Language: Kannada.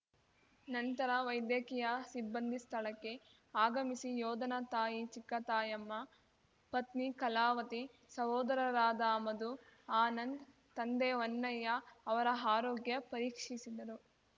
ನಂತರ ವೈದ್ಯಕೀಯ ಸಿಬ್ಬಂದಿ ಸ್ಥಳಕ್ಕೆ ಆಗಮಿಸಿ ಯೋಧನ ತಾಯಿ ಚಿಕ್ಕತಾಯಮ್ಮ ಪತ್ನಿ ಕಲಾವತಿ ಸಹೋದರರಾದ ಮಧು ಆನಂದ್‌ ತಂದೆ ಹೊನ್ನಯ್ಯ ಅವರ ಆರೋಗ್ಯ ಪರೀಕ್ಷಿಸಿದರು